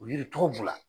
O yiri tɔgɔ b'u la